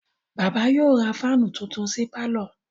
Bàbá yóò ra fáánù tuntun sí pálọ̀.